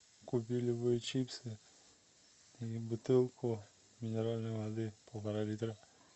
купи любые чипсы и бутылку минеральной воды полтора литра